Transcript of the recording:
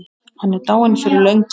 Hann er dáinn fyrir löngu.